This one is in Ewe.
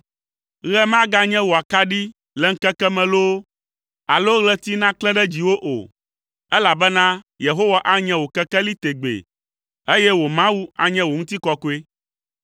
Ɣe maganye wò akaɖi le ŋkeke me loo alo ɣleti naklẽ ɖe dziwò o, elabena Yehowa anye wò kekeli tegbee ye wò Mawu anye wò ŋutikɔkɔe.